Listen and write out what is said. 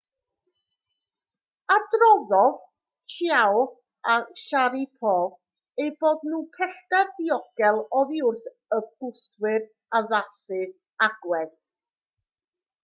adroddodd chiao a sharipov eu bod nhw pellter diogel oddi wrth y gwthwyr addasu agwedd